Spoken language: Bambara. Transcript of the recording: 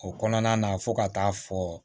O kɔnɔna na fo ka taa fɔ